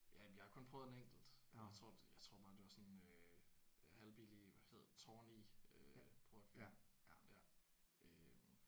Ja jeg har kun prøvet en enkelt. Jeg tror jeg tror bare det var sådan en øh halvbillig hvad hedder den Tawny øh portvin ja